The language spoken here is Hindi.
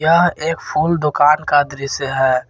यह एक फूल दुकान का दृश्य है।